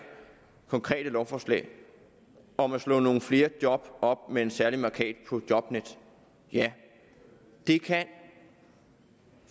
konkrete lovforslag om at slå nogle flere job op med en særlig mærkat på jobnet ja det kan